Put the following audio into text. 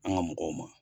An ka mɔgɔw ma